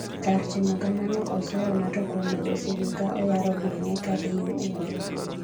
kar timo kamano ,oseyo Nato kuom medo sigu ka oyaro gweng'e kadhi yo ugwe